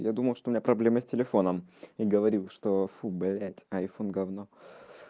я думал что у меня проблемы с телефоном и говорил что фу блять айфон говно